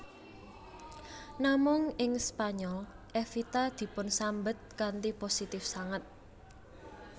Namung ing Spanyol Evita dipunsambet kanthi positif sanget